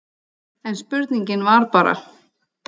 En spurningin var bara